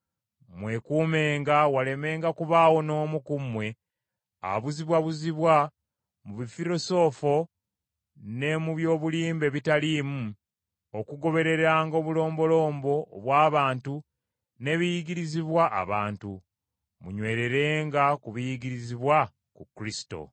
Mwekuumenga walemenga kubaawo n’omu ku mmwe abuzibwabuzibwa mu bufirosoofo ne mu by’obulimba ebitaliimu, okugobereranga obulombolombo obw’abantu n’ebiyigirizibwa abantu. Munywererenga ku biyigirizibwa ku Kristo.